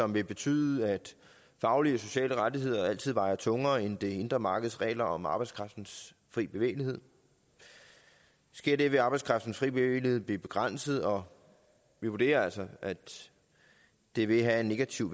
vil betyde at faglige og sociale rettigheder altid vejer tungere end det indre markeds regler om arbejdskraftens fri bevægelighed sker det vil arbejdskraftens fri bevægelighed blive begrænset og vi vurderer altså at det vil have en negativ